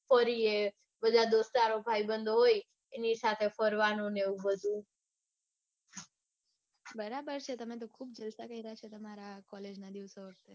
ફરીયે બધા દોસ્તારો ભાઈબંધો હોય એની ને એવું બધું. બરાબર છે તમે તો ખુબ જલસા કાર્ય છે તમારા collage ના દિવસો.